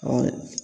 Ɔ